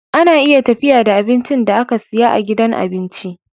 Ana iya tafiya da abincin da aka siya a gidan abinci